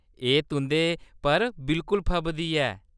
एह्‌‌ तुं'दे पर बिल्कुल फबदी ऐ।